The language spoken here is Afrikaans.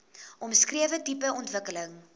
omskrewe tipe ontwikkeling